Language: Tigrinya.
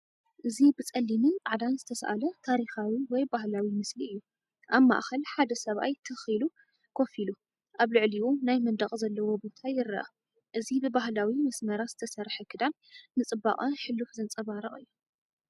እዚ ብጸሊምን ጻዕዳን ዝተሳእለ ታሪኻዊ ወይ ባህላዊ ምስሊ እዩ። ኣብ ማእከል ሓደ ሰብኣይ ትኽ ኢሉ ኮፍ ኢሉ፡ ኣብ ልዕሊኡ ናይ መንደቕ ዘለዎ ቦታ ይርአ። እዚ ብባህላዊ መስመራት ዝተሰርሐ ክዳን፡ ንጽባቐ ሕሉፍ ዘንጸባርቕ እዩ።